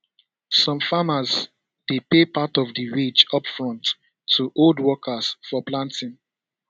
some farmers dey pay part of di wage upfront to hold workers for planting